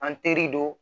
An teri don